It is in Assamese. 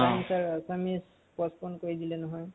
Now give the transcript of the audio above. কালি তাৰ অসমীয়া postpone কৰি দিলে নহয়।